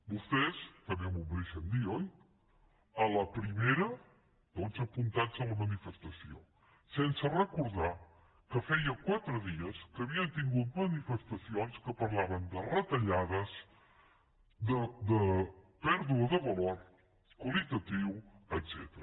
vostès també m’ho deixen dir oi a la primera tots apuntats a la manifestació sense recordar que feia quatre dies que havien tingut manifestacions que parlaven de retallades de pèrdua de valor qualitatiu etcètera